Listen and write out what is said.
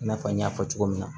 I n'a fɔ n y'a fɔ cogo min na